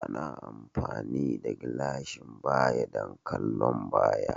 Ana amfani da gilashin baya don kallon baya